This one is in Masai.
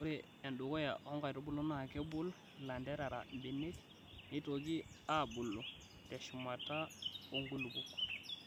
Ore endukuya oo nkaitubulu naa kebol ilanterera mbenek neitoki aaboluU TEshumata oo nkulupuok.